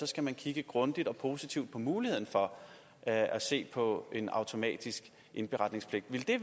skal man kigge grundigt og positivt på muligheden for at se på en automatisk indberetningspligt ville det